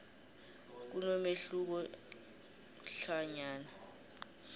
kunomehluko hlanyana